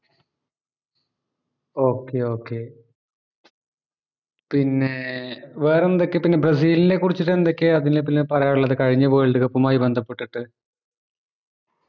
okey okay പിന്നെ വേറെന്തൊക്കെയാ പിന്നെ ബ്രസിൽനെ കുറിച്ചിട്ട് എന്തൊക്കെയാ പിന്നെ പിന്നെ പറയാൻ ഇള്ളത് കഴിഞ്ഞ world cup ഉമായി ബന്ധപെട്ടിട്ട്